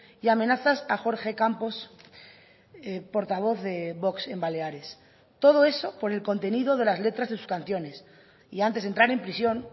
y amenazas a jorge campos portavoz de vox en baleares todo eso por el contenido de las letras de sus canciones y antes de entrar en prisión